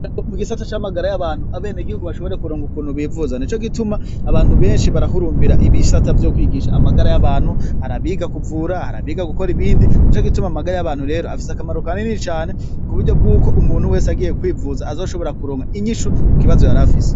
Mu gisata c'amagara y'abantu abene igihugu bashobore kuronga ukuntu bivuza ni co gituma abantu benshi barahurumbira ibisata vyo kwiginsha amagara y'abantu harabiga kuvura harabiga gukora ibindi ni co gituma amagara y'abantu rero afise akamaro kanini cane ku buryo bw'uko umuntu wese agiye kwivuza azoshobora kuronga inyishu ku kibazo yarafise.